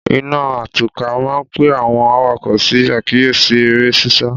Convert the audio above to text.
Ìnaá àtọ̀kà maà ń pẹ awon àwáko sí akiyesi ere sisa